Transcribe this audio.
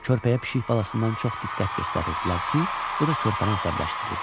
Körpəyə pişik balasından çox diqqət göstərirdilər ki, bu da körpəni əsəbləşdirirdi.